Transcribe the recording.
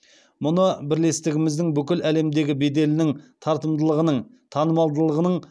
мұны бірлестігіміздің бүкіл әлемдегі беделінің тартымдылығының танымалдығының